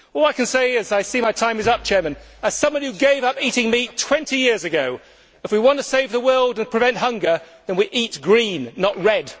All I can say is and I see my time is up, Madam President as someone who gave up eating meat 20 years ago, if we want to save the world and prevent hunger, then we eat green, not red.